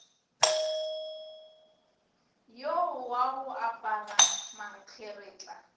yo wa go apara mankgeretla